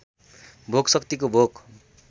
भोक शक्तिको भोक